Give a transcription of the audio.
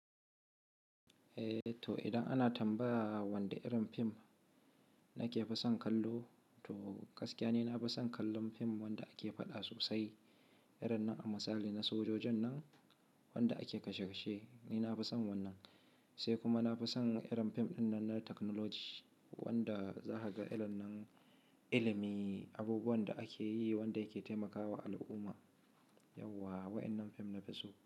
Eh, to idan ana tambaya wanda irin fim nake fi son kallo, to gaskiya ni na fi son kallon fim wanda ake faɗa sosai. Irin nan a misali na sojojin nan wanda ake kashe kashe ni na fi son wannan. Sai kuma na fi son irin fim ɗin nan na technology wanda za ka ga ilimin abubuwan da ake yi wanda yake taimakawa al'umma. Yauwa waɗannan fim na fi so.